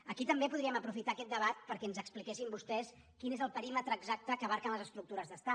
aquí també podríem aprofitar aquest debat perquè ens expliquessin vostès quin és el perímetre exacte que abasten les estructures d’estat